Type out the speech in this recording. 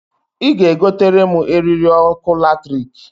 I ga e gotere m eriri ọkụ latrikǃ